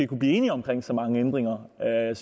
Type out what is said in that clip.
kunne blive enige om så mange ændringer